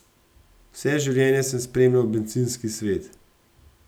Vse življenje sem spremljal bencinski svet.